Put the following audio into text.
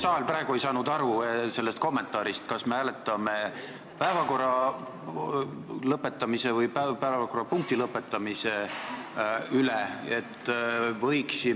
Saal praegu ei saanud aru sellest kommentaarist, mida me hääletame, kas päevakorra lõpetamiseni või päevakorrapunkti lõpetamiseni.